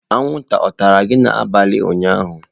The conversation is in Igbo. Anwụnta ọ tara gị n'abalị ụnyaahụ?